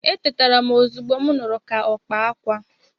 Etetara m ozugbo m nụrụ ka ọkpa akwa.